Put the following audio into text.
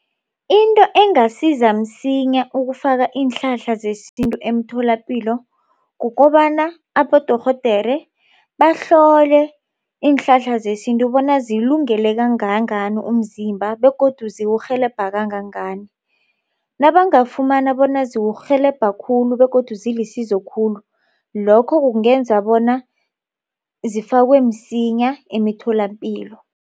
Into engasiza msinya ukufaka iinhlahla zesintu emtholapilo. Kukobana abodorhodera bahlole iinhlahla zesintu bona zilungele kangangani umzimba begodu zizokurhelebha kangangani. Nabangafumana bona ziwukurhelebha khulu begodu zilisizo khulu lokho kungenza bona zifakwe msinya emitholapilo.